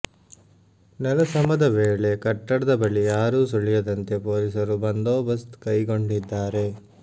ನೆಲಸಮದ ವೇಳೆ ಕಟ್ಟಡದ ಬಳಿ ಯಾರೂ ಸುಳಿಯದಂತೆ ಪೊಲೀಸರು ಬಂದೋಬಸ್ತ್ ಕೈಗೊಂಡಿದ್ದಾರೆ